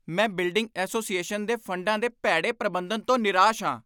ਮੈਂ building association ਦੇ ਫੰਡਾਂ ਦੇ ਭੈੜੇ ਪ੍ਰਬੰਧਨ ਤੋਂ ਨਿਰਾਸ਼ ਹਾਂ।